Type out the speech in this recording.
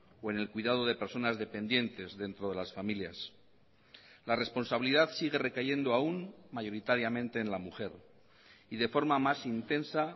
o en el cuidado de personas dependientes dentro de las familias la responsabilidad sigue recayendo aún mayoritariamente en la mujer y de forma más intensa